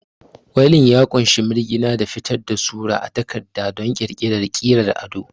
Ƙwuilin ya ƙunshi mirgina da fitar da sura a takarda don ƙirƙirar ƙirar ado.